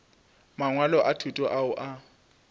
mangwalo a thuto ao a